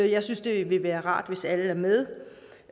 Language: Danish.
jeg synes det ville være rart hvis alle var med